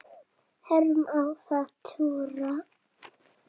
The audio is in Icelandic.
Hverjum á að trúa?